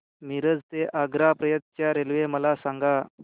मिरज ते आग्रा पर्यंत च्या रेल्वे मला सांगा